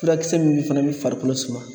Furakisɛ min fana bɛ farikolo suma